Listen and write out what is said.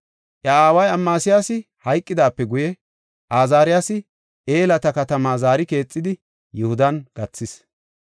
Iya aaway Amasiyaasi hayqidaape guye, Azaariyasi Elata katama zaari keexidi, Yihudan gathis.